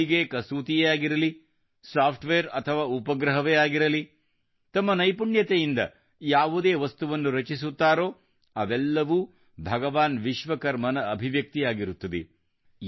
ಹೊಲಿಗೆಕಸೂತಿಯೇ ಆಗಿರಲಿ software ಅಥವಾ ಉಪಗ್ರಹವೇ ಆಗಿರಲಿ ತಮ್ಮ ನೈಪುಣ್ಯತೆಯಿಂದ ಯಾವುದೇ ವಸ್ತುವನ್ನು ರಚಿಸುತ್ತಾರೋಅವೆಲ್ಲವೂ ಭಗವಾನ್ ವಿಶ್ವಕರ್ಮನಅಭಿವ್ಯಕ್ತಿಯಾಗಿರುತ್ತದೆ